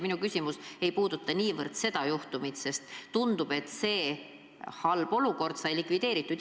Minu küsimus ei puuduta niivõrd seda juhtumit, sest tundub, et see halb olukord sai likvideeritud.